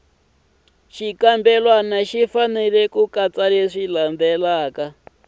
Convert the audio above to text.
ri fanele ku katsa leswi